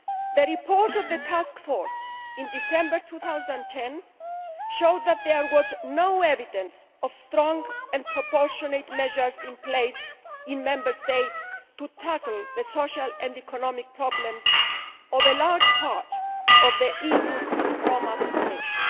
The report of the Task Force, in December 2010, showed that there was no evidence of strong and proportionate measures in place in Member States to tackle the social and economic problems of a large part of the EU's Roma population.